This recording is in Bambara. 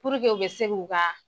Puruke u bɛ se k'u ka